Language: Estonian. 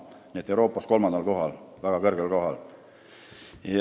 Nii et me oleme Euroopas kolmandal, väga kõrgel kohal.